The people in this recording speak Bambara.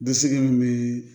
Dɛsɛ min bɛ